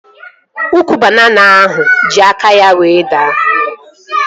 Ukwu banana ahụ ji aka ya wee daa